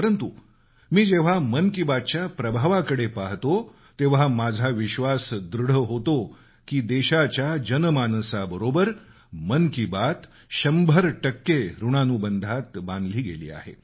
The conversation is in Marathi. परंतु मी जेव्हा मन की बात च्या प्रभावाकडे पाहतो तेव्हा माझा विश्वास दृढ होतो की देशाच्या जनमानसाबरोबर मन की बात शंभर टक्के ॠणानुबंधात बांधली गेली आहे